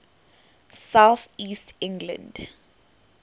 south east england